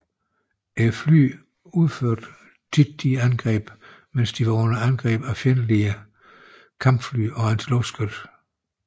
Flyene udførte ofte disse angreb mens de var under angreb af fjendtlige kampfly og antiluftskyts